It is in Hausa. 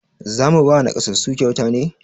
Za mu ba naƙasassu kyauta ne?